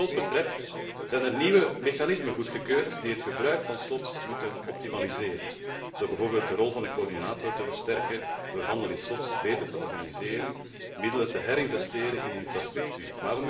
Wat de slots betreft, zijn er nieuwe mechanismen goedgekeurd die het gebruik van slots moeten optimaliseren door bijvoorbeeld de rol van de coördinator te versterken, door de handel in slots beter te organiseren, middelen te herinvesteren in infrastructuur.